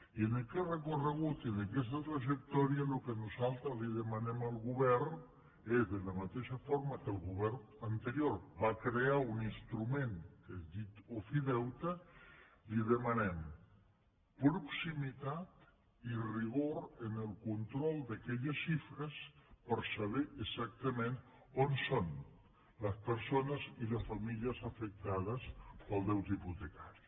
i en aquest recorregut i en aquesta trajectòria el que nosaltres li demanem al govern és de la mateixa forma que el govern anterior va crear un instrument que és diu ofideute li demanem proximitat i rigor en el control d’aquelles xifres per saber exactament on són les persones i les famílies afectades pel deute hipotecari